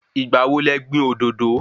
Ìgbà wo lẹ gbìn òdòdó?